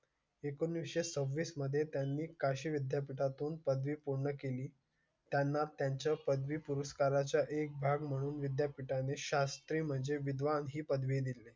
एकोणीस सव्वीस मध्ये त्यांनी काशी विद्यापीठा तून पदवी पूर्ण केली. त्यांना त्यांच्या पदरी पुरस्कारा चा एक भाग म्हणून विद्यापीठा ने शास्त्री म्हणजे विद्वान ही पदवी दिले.